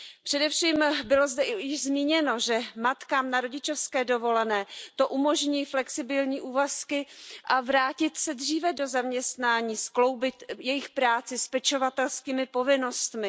Především zde bylo již zmíněno, že matkám na rodičovské dovolené to umožní flexibilní úvazky a vrátit se dříve do zaměstnání, skloubit jejich práci s pečovatelskými povinnostmi.